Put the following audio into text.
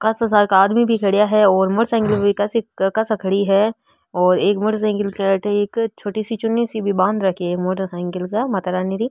कासा सारका आदमी भी खड़ा है और मोटर साइकल भी कासी कासा खड़ी है और एक मोटर साइकल के अठ एक छोटी सी चुनी सी बांध रखे है मोटर साइकल र माता रानी री --